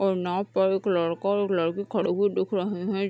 और नाव पर एक लड़का और एक लड़की खड़े हुए दिख रहे है।